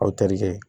Aw tɛrikɛ